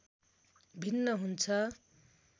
भिन्न हुन्छ।